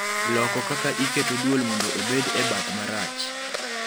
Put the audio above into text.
loko kaka iketo dwol mondo obed e bath marach